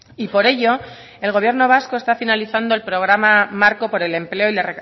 y por ello el gobierno vasco está finalizando el programa marco por el empleo y la